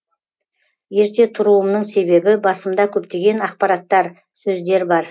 ерте тұруымның себебі басымда көптеген ақпараттар сөздер бар